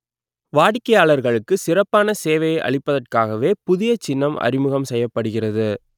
வாடிக்கையாளர்களுக்கு சிறப்பான சேவையை அளிப்பதற்காகவே புதிய சின்னம் அறிமுகம் செய்யப்படுகிறது